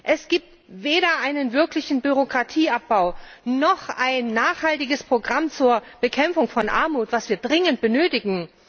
Es gibt weder einen wirklichen Bürokratieabbau, noch ein nachhaltiges Programm zur Bekämpfung von Armut, das wir dringend benötigen.